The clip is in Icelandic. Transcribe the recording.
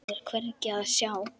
Þá er hvergi að sjá.